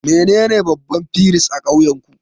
Wanene babban firist a ƙauyenku?